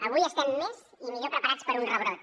avui estem més i millor preparats per a un rebrot